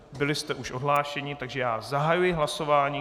Byli jste už odhlášeni, takže já zahajuji hlasování.